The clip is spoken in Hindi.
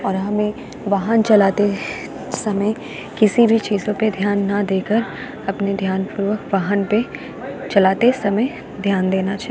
और हमें वाहन चलाते समय किसी भी चीजों पे ध्यान न देकर अपने ध्यान पूर्वक वाहन पे चलाते समय ध्यान देना चाहि --